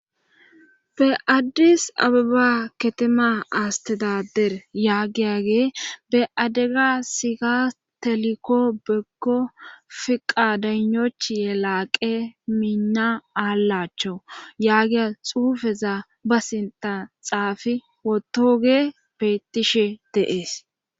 Be addis abiba ketema astedader yaagiyage be addega sika telikko begko fiqa danochiye laaqe miinna aallachcho yaagiya xuufeza ba sinta xaafi wotoge bettishe deees.